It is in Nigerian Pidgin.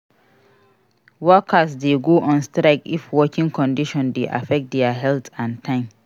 Workers dey go on strike if working condition dey affect their health and time